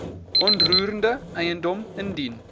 onroerende eiendom indien